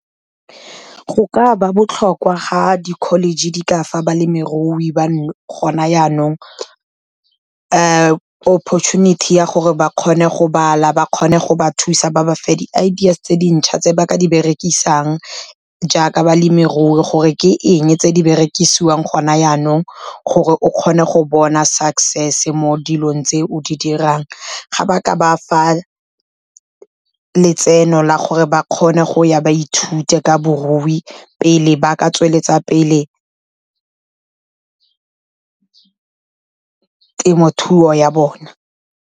Go ka ba botlhokwa ga di-college di ka fa balemirui ba gona yanong opportunity. Ya gore ba kgone go bala, ba kgone go ba thusa ba ba fe di ideas tse dintšhwa, tse ba ka di berekisang jaaka balemirui. Gore ke eng tse di berekisiwang gona yanong, gore o kgone go bona success mo dilong tse o di dirang. Ga ba ka ba letseno la gore ba kgone go ya ba ithute ka barui, pele ba ka tsweletsa pele temothuo ya bona.